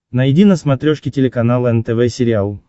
найди на смотрешке телеканал нтв сериал